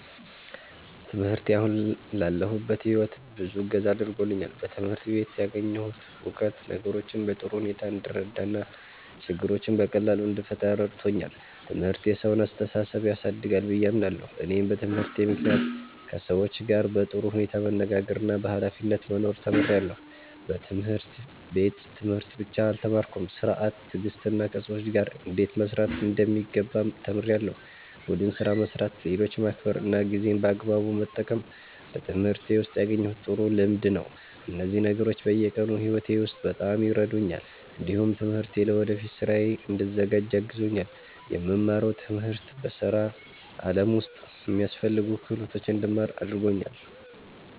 ትምህርቴ አሁን ላለሁበት ሕይወት ብዙ እገዛ አድርጎልኛል። በትምህርት ቤት ያገኘሁት እውቀት ነገሮችን በጥሩ ሁኔታ እንድረዳ እና ችግሮችን በቀላሉ እንድፈታ ረድቶኛል። ትምህርት የሰውን አስተሳሰብ ያሳድጋል ብዬ አምናለሁ። እኔም በትምህርቴ ምክንያት ከሰዎች ጋር በጥሩ ሁኔታ መነጋገርና በኃላፊነት መኖር ተምሬያለሁ። በትምህርት ቤት ትምህርት ብቻ አልተማርኩም፤ ሥርዓት፣ ትዕግስትና ከሰዎች ጋር እንዴት መስራት እንደሚገባም ተምሬያለሁ። ቡድን ስራ መስራት፣ ሌሎችን ማክበር እና ጊዜን በአግባቡ መጠቀም በትምህርቴ ውስጥ ያገኘሁት ጥሩ ልምድ ነው። እነዚህ ነገሮች በየቀኑ ሕይወቴ ውስጥ በጣም ይረዱኛል። እንዲሁም ትምህርቴ ለወደፊት ሥራዬ እንድዘጋጅ አግዞኛል። የምማረው ትምህርት በሥራ ዓለም ውስጥ የሚያስፈልጉ ክህሎቶችን እንድማር አድርጎኛል።